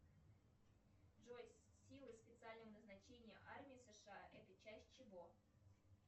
джой силы специального назначения армии сша это часть чего